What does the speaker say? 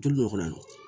Joli bɛ kɔnɔ